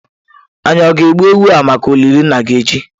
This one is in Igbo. Anyi o ga-egbu ewu a maka olili nna gi echi?